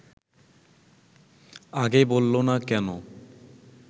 আগে বলল না কেন